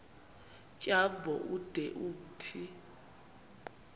tyambo ude umthi